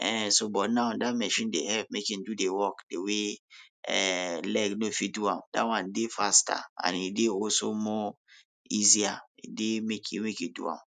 um so but now dat machine dey help make e do dey work dey way um leg no fit do am, dat one dey faster and e dey also more easier e dey make you make you do am.